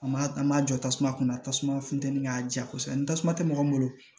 A ma jɔ tasuma kunna tasuma funtɛni k'a ja kosɛbɛ ni tasuma tɛ mɔgɔ min bolo